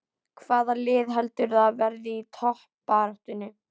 Hvaða lið heldurðu að verði í toppbaráttunni?